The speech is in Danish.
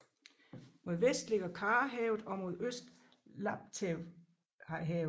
Mod vest ligger Karahavet og mod øst Laptevhavet